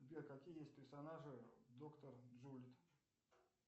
сбер какие есть персонажи доктор джулит